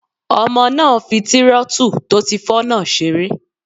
Ọmọ náà n fi tírótù tó ti fọ́ náà seré